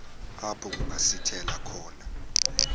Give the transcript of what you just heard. apho kungasithela khona